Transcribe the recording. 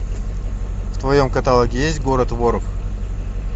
в твоем каталоге есть город воров